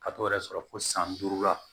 Ka t'o yɛrɛ sɔrɔ fo san duuru la